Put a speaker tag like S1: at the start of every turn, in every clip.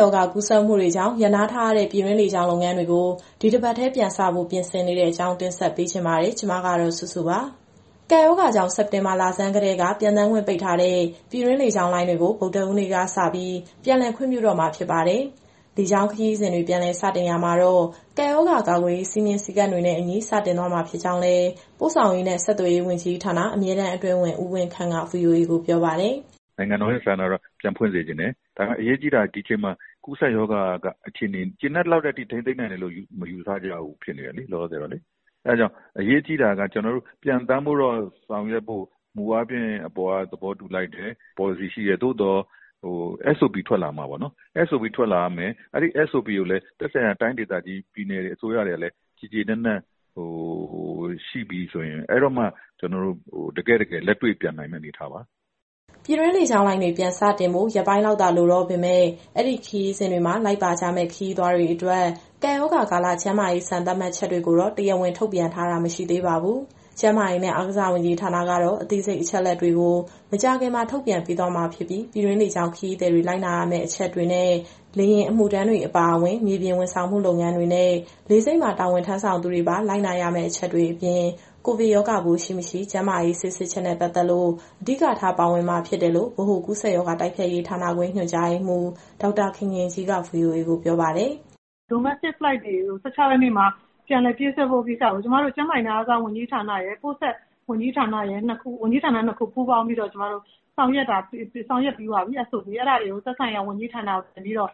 S1: ရောဂါ ကူးစက်မှုတွေကြောင့် ရပ်နားထားရတဲ့ ပြည်တွင်းလေကြောင်း လုပ်ငန်းတွေကို ဒီတပတ်ထဲ ပြန်စဖို့ ပြင်ဆင်နေတဲ့အကြောင်းကို ဗွီအိုအေမြန်မာပိုင်း သတင်းထောက် မစုစုက ပြောပြပေးပါမယ်။ ကပ်ရောဂါကြောင့် စက်တင်ဘာလဆန်းကတည်းက ပျံသန်းခွင့်ပိတ်ထားတဲ့ ပြည်တွင်းလေကြောင်းလိုင်းတွေကို ဗုဒ္ဓဟူးနေ့ကစ ပြန်လည်ခွင့်ပြုတော့မှာ ဖြစ်ပါတယ်။ လေကြောင်းခရီးစဉ်တွေ ပြန်လည်စတင်ရာမှာတော့ ကပ်ရောဂါကာကွယ်ရေး စည်မျဉ်းစည်းကမ်းတွေနဲ့အညီ စတင်သွားမှာ ဖြစ်ကြောင်းလည်း ပို့ဆောင်ရေးနဲ့ ဆက်သွယ်ရေးဝန်ကြီးဌာန၊ အမြဲတမ်းအတွင်းဝန် ဦးဝင်းခန့်က VOA ကိုပြောပါတယ်။
S2: "နိုင်ငံတော်ရဲ့ဆန္ဒကတော့ ပြန်ဖွင့်စေချင်တယ်။ ဒါပေမဲ့ အရေးကြီးတာက ဒီချိန်မှာ ကူးစက်ရောဂါခြေအနေက ကျေနပ်လောက်တဲ့အထိ ထိန်းသိမ်းနိုင်တယ်လို့ မယူဆကြဘူးဖြစ်နေတယ် လောလောဆယ်တော့လေ။ အဲဒါကြောင့် အရေးကြီးတာက ကျနော်တို့ ပျံသန်းဖို့ကို ဆောင်ရွက်ဖို့မူအားဖြင့် အပေါ်ကသဘောတူလိုက်တယ်၊ ပေါ်လစီရှိတယ်။ သို့သော် SOP ထွက်လာရမယ်၊ အဲဒီ SOP တွေကိုလည်း သက်ဆိုင်ရာပြည်နယ် အစိုးရတွေကလည်း ကျေကျေနပ်နပ်ရှိပြီဆိုရင် အဲဒီတော့မှ ကျနော်တို့ တကယ့်တကယ်လက်တွေ့ပျံနိုင်မယ့် အနေအထားပါ။"
S1: ပြည်တွင်းလေကြောင်းလိုင်းတွေ ပြန်စတင်ဖို့ ရက်ပိုင်းလောက်သာ လိုတော့ပေမဲ့ အဲဒီခရီးစဉ်တွေမှာ လိုက်ပါကြမယ့် ခရီးသွားတွေအတွက် ကပ်ရောဂါကာလ ကျန်းမာရေး စံသတ်မှတ်ချက်တွေကိုတော့ တရားဝင် ထုတ်ပြန်တာ မရှိသေးပါဘူး။ ကျန်းမာရေးနဲ့ အားကစား ဝန်ကြီးဌာနကတော့ အသေးစိတ်အချက်အလက်တွေကို မကြာခင်မှာ ထုတ်ပြန်ပေးသွားမှာဖြစ်ပြီး ပြည်တွင်းလေကြောင်းခရီးသည်တွေ လိုက်နာရမယ့်အချက်တွေနဲ့ လေယာဉ်အမှုထမ်းတွေအပါအဝင် မြေပြင်ဝန်ဆောင်မှုလုပ်ငန်းတွေနဲ့ လေဆိပ်မှာ တာဝန်ထမ်းဆောင်သူတွေပါ လိုက်နာရမယ့်အချက်တွေအပြင် ကိုဗစ်ရောဂါပိုးရှိ၊ မရှိ ကျန်းမာရေးဆေးစစ်ချက်နဲ့ပတ်သက်လို့ အဓိကထား ပါဝင်မှာဖြစ်တယ်လို့ ဗဟိုကူးစက်ရောဂါတိုက်ဖျက်ရေး ဌာနခွဲ ညွှန်ကြားရေးမှူး ဒေါက်တာခင်ခင်ကြီးက VOA ကိုပြောပါတယ်။ "Domestic Flight တွေကို ၁၆ ရက်နေ့မှာ ပြန်လည်ပြေးဆွဲဖို့ကိ
S3: စ္စကို ကျမတို့ ကျန်းမာရေးနဲ့ အားကစားဝန်ကြီးဌာနရယ်၊ ပို့ဆောင်ရေးနဲ့ ဆက်သွယ်ရေးဝန်ကြီးဌာနရယ် ပူးပေါင်းပြီးတော့ SOP တွေဆောင်ရွက်ပြီးပါပြီ။ အဲဒါတွေကို သက်ဆိုင်ရာဝန်ကြီးဌာနကနေ ပြန်ပြီးတော့ ဗ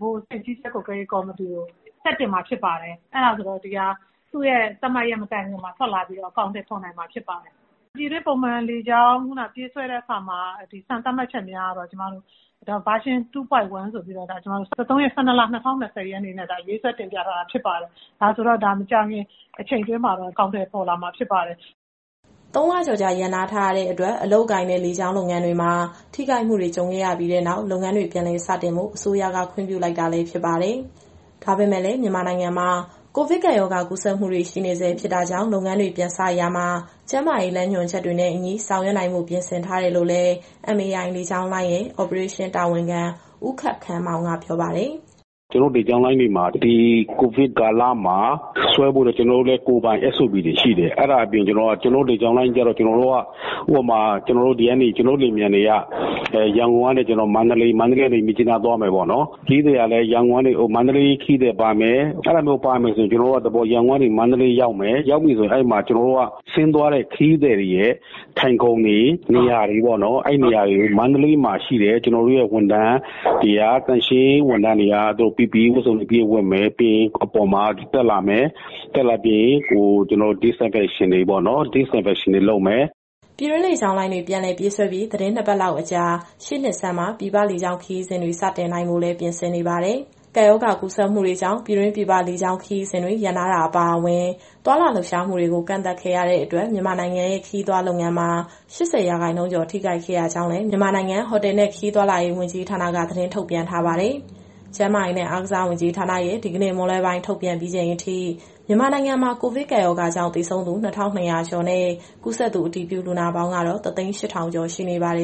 S3: ဟိုအဆင့်ကြီးကြပ်ကွပ်ကဲရေးကော်မတီကို ဆက်တင်မှာဖြစ်ပါတယ်။ အဲဒါဆိုတော့ ဒီဟာက သူ့ရဲ့သတ်မှတ်ရက်မတိုင်ခင်မှာ ထွက်လာပြီးတော့ အကောင်အထည်ဖော်နိုင်မှာဖြစ်ပါတယ်။ ပြည်တွင်းပုံမှန်လေကြောင်း ပြန်လည်ပြေးဆွဲတဲ့အခါမှာ စံသတ်မှတ်ချက်များကတော့ Version 2.1 ဆိုပြီးတော့ ကျမတို့ ဒီဇင်ဘာ ၁၃ ရက်နေ့စွဲနဲ့ ရေးဆွဲတင်ပြထားတာဖြစ်ပါတယ်။ ဒါဆိုတော့ ဒါမကြာခင်အချိန်တွင်းမှာတော့ အကောင်အထည်ပေါ်လာမှာ ဖြစ်ပါတယ်။"
S1: ၃ လကျော်ကြာ ရပ်နာထားရတဲ့အတွက် အလုပ်အကိုင်နဲ့ လေကြောင်းလုပ်ငန်းတွေမှာ ထိခိုက်မှုတွေ ကြုံခဲ့ရပြီးနောက် လုပ်ငန်းတွေ ပြန်လည် စတင်ဖို့ အစိုးရက ခွင့်ပြုလိုက်တာလည်း ဖြစ်ပါတယ်။ ဒါပေမဲ့လည်း မြန်မာနိုင်ငံမှာ ကိုဗစ်ကပ်ရောဂါ ကူးစက်မှုတွေ ရှိနေဆဲ ဖြစ်တာကြောင့် လုပ်ငန်းတွေ ပြန်စရာမှာ ကျန်းမာရေးလမ်းညွှန်ချက်တွေနဲ့အညီ ဆောင်ရွက်နိုင်ဖို့ ပြင်ဆင်ထားတယ်လို့လည်း MAI လေကြောင်းလိုင်းရဲ့ အော်ပရေးရှင်းတာဝန်ခံ ဦးခပ်ခမ်းမောင်က ပြောပါတယ်။
S4: "ကျနော်တို့လေကြောင်းလိုင်းတွေမှာ ဒီကိုဗစ်ကာလမှာ ဆွဲဖို့အတွက် ကိုယ်ပိုင် SOP တွေရှိတယ်။ အဲဒါအပြင် ဥပမာ ကျနော်တို့လေယာဉ်ပျံတွေက ရန်ကုန် - မန္တလေး - မြစ်ကြီးနားသွားမယ်ပေါ့နော်။ ခရီးသည်ကလည်း ရန်ကုန်၊ မန္တလေး၊ မြစ်ကြီးနားခရီးသည် ပါမယ်။ အဲလိုဆို ရန်ကုန်ကနေ မန္တလေးရောက်ပြီဆို ကျနော်တို့က ဆင်းသွားတဲ့ခရီးသည်တွေရဲ့ထိုင်ခုံတွေ၊ နေရာတွေကို မန္တလေးမှာရှိတဲ့ ကျနော်တို့ရဲ့သန့်ရှင်းရေးဝန်ထမ်းတွေက PPE ဝတ်စုံအပြည့်ဝတ်မယ်၊ လေယာဉ်ပေါ်ကိုတက်လာပြီး Disinfection တွေလုပ်မယ်။"
S1: ပြည်တွင်းလေကြောင်းလိုင်းတွေ ပြန်လည်ပြေးဆွဲပြီး သီတင်း ၂ ပတ်လောက်အကြာ ရှေ့နှစ်ဆန်းမှာ ပြည်ပခရီးစဉ်တွေကို စတင်နိုင်ဖို့လည်း ပြင်ဆင်နေပါတယ်။ ကပ်ရောဂါကူးစက်မှုတွေကြောင့် ပြည်တွင်း၊ ပြည်ပလေကြောင်း ခရီးစဉ်တွေ ရပ်နားတာအပါအဝင် သွားလာလှုပ်ရှားမှုတွေကို ကန့်သတ်ခဲ့ရတဲ့အတွက် မြန်မာနိုင်ငံရဲ့ ခရီးသွားလုပ်ငန်းမှာ ၈၀ ရာခိုင်နှုန်းကျော် ထိခိုက်ခဲ့ရကြောင်းလည်း မြန်မာနိုင်ငံဟိုတယ်နဲ့ ခရီးသွားလုပ်ငန်းက သတင်းထုတ်ပြန်ထားပါတယ်။ ကျန်းမာရေးနဲ့ အားကစားဝန်ကြီးဌာနရဲ့ ဒီကနေ့မွန်းလွဲပိုင်းအထိ ထုတ်ပြန်ချက်အရ မြန်မာနိုင်ငံမှာ ကိုဗစ်ကပ်ရောဂါကြောင့် သေဆုံးသူ ၂,၂၀၀ ကျော်နဲ့၊ ကူးစက်သူအတည်ပြုလူနာပေါင်းကတော့ ၁၀၈,၀၀၀ ကျော်ရှိနေပါတယ်